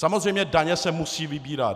Samozřejmě daně se musí vybírat.